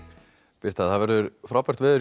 birta það verður frábært veður